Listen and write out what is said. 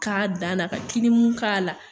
K'a dan na ka kilimu k'a la